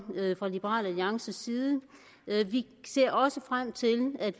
fra liberal alliances side vi ser også frem til at